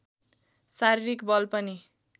शारीरिक बल पनि